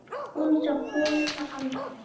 Hún sá konuna aldrei.